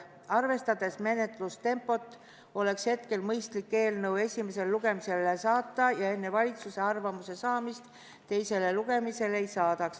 Arvestades menetluse tempot, oleks hetkel mõistlik eelnõu esimesele lugemisele saata ja enne valitsuse arvamuse saamist teisele lugemisele ei saadaks.